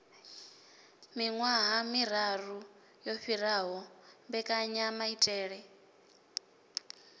miwaha miau yo fhiraho mbekanyamaitele